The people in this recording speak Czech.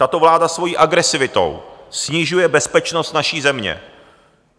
Tato vláda svojí agresivitou snižuje bezpečnost naší země.